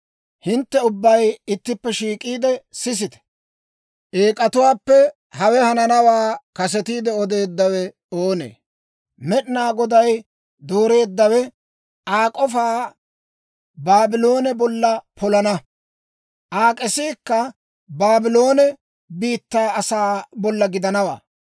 «Hintte ubbay ittippe shiik'iide sisite; eek'atuwaappe hawe hananawaa kasetiide odeeddawe oonee? Med'inaa Goday dooreeddawe Aa k'ofaa Baabloone bolla polana; Aa k'esiikka Baabloone biittaa asaa bolla gidanawaa.